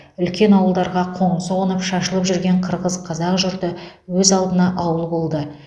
үлкен ауылдарға қоңсы қонып шашылып жүрген қырғыз қазақ жұрты өз алдына ауыл болды